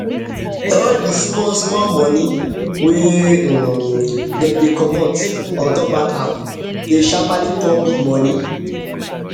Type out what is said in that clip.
all d small small money wey dem dey comot dey comot ontop bank app dey sharpaly turn big money